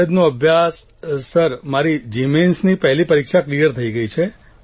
કોલેજનો અભ્યાસ સર મારી જીમેઇન્સની પહેલી પરિક્ષા કલીયર થઇ ગઇ છે